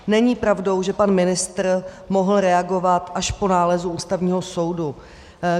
Není pravdou, že pan ministr mohl reagovat až po nálezu Ústavního soudu.